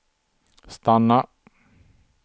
stanna